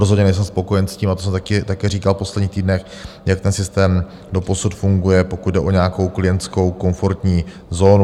Rozhodně nejsem spokojen s tím - a to jsem také říkal v posledních týdnech - jak ten systém doposud funguje, pokud jde o nějakou klientskou komfortní zónu.